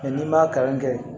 n'i man kalan kɛ